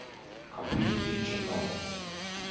complete future null